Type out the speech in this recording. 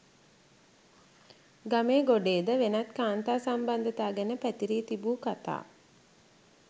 ගමේ ගොඩේද වෙනත් කාන්තා සම්බන්ධතා ගැන පැතිරී තිබූ කථා